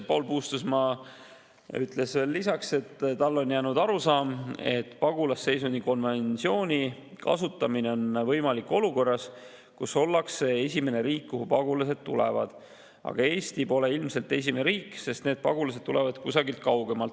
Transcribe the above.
Paul Puustusmaa ütles lisaks, et tal on arusaam, et pagulasseisundi konventsiooni kasutamine on võimalik olukorras, kus ollakse esimene riik, kuhu pagulased tulevad, aga Eesti pole ilmselt esimene riik, sest need pagulased tulevad kusagilt kaugemalt.